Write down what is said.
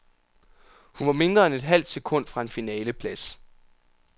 Hun var mindre end et halvt sekund fra en finaleplads.